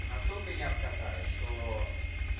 настолько не обкатали что